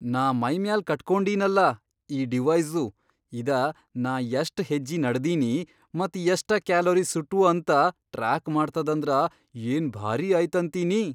ನಾ ಮೈಮ್ಯಾಲ್ ಕಟ್ಕೊಂಡೀನಲಾ ಈ ಡಿವೈಸು ಇದ ನಾ ಯಷ್ಟ್ ಹೆಜ್ಜಿ ನಡದೀನಿ ಮತ್ ಯಷ್ಟ ಕ್ಯಾಲೋರಿ ಸುಟ್ವು ಅಂತ ಟ್ರಾಕ್ ಮಾಡ್ತದಂದ್ರ ಏನ್ ಭಾರೀ ಆಯ್ತಂತೀನಿ.